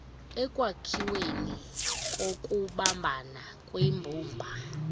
ekwakhiweni kokubambana kwimbumba